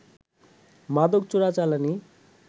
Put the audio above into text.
মাদক চোরাচালানি